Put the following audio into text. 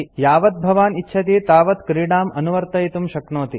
यावव् भवान् इच्छति तावत् क्रीडाम् अनुवर्तयितुं शक्नोति